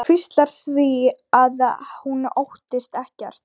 Hvíslar því að hún óttist ekkert.